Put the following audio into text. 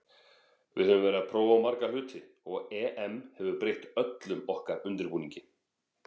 Við höfum verið að prófa marga hluti og EM hefur breytt öllum okkar undirbúningi.